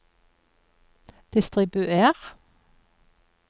distribuer